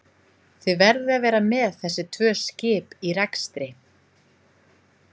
Þið verðið að vera með þessi tvö skip í rekstri?